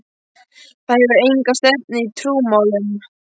Það hefur enga stefnu í trúmálum.